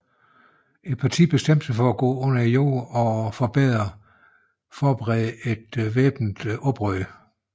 Partiet bestemte sig for at gå under jorden og forberede væbnet oprør